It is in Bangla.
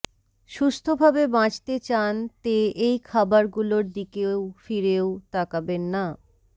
সুস্থভাবে বাঁচতে চান তে এই খাবরগুলোর দিকেও ফিরেও তাকাবেন না